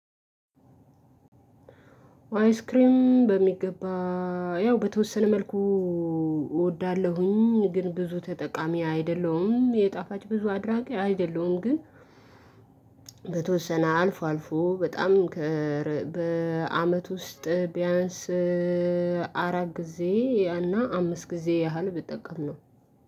አይስክሬም በሚገባ ያው በተወሰነ መልኩ እወዳለሁኝ ግን ብዙ ተጠቃሚ አይደለሁም የጣፋጭ ብዙ አድራጊ አይደለሁም። ግን በተወሰነ አልፎ አልፎ በጣም በአመት ውስጥ ቢያንስ አራት ጊዜ እና አምስት ጊዜ ያህል ብጠቅም ነው።